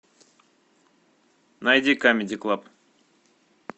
найди камеди клаб